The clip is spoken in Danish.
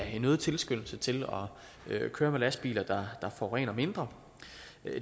en øget tilskyndelse til at køre med lastbiler der forurener mindre